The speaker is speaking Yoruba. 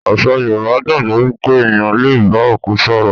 Àṣà Yorùbá gbàgbó wípé ẹ̀yàn le bá òkú sọ̀rọ̀.